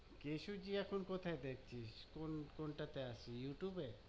কেশব জি এখন কোথায় দেখছিস? কোন কোনটাতে আছে? ইউটুবে?